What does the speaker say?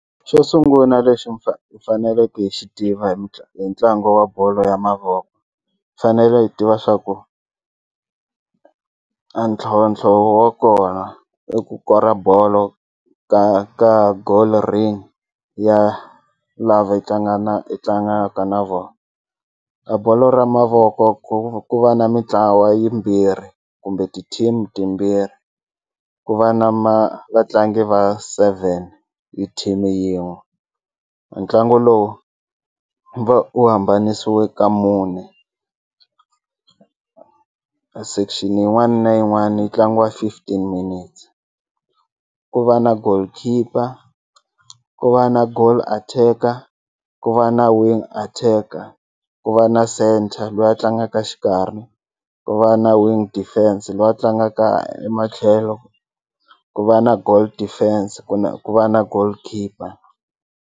Xo sunguna lexi hi faneleke hi xi tiva hi hi ntlangu wa bolo ya mavoko fanele hi tiva swa ku a ntlhantlho wa kona i ku kora bolo ka ka ya lava hi hi tlangaka na vona a bolo ra mavoko ku ku va na mitlawa yimbirhi kumbe ti-team timbirhi ku va na ma vatlangi va seven hi team yin'we ntlangu lowu va u hambanisiwe ka mune section yin'wani na yin'wani yi tlangiwa fifteen minutes ku va na goalkeeper ku va na goal attacker ku va na wing attacker ku va na centre lweyi a tlangaka xikarhi ku va na wing defense lweyi a tlangaka ematlhelo ku va na goal defense kumbe ku va na goalkeeper.